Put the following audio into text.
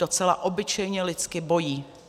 Docela obyčejně lidsky bojí.